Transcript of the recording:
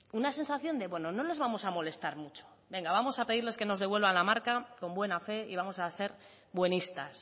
una sensación de bueno no les vamos a molestar mucho venga vamos a pedirles que nos devuelvan la marca con buena fe y vamos a ser buenistas